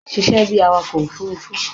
Ṣiṣẹ́ bí awakọ̀ òfurufú.